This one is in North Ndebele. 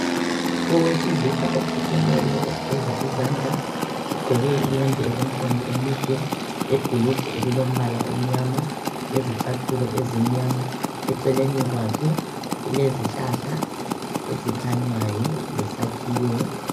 Owesilisa okhothemeyo ogeza izandla, ugqoke iyembe elemkhono emide, lebhulugwe elilombala omnyama, lezicathulo ezimnyama. Eceleni kwakhe kulezihlahla ezikhanyayo lesakhiwo.